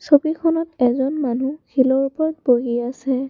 ছবিখনত এজন মানুহ শিলৰ ওপৰত বহি আছে।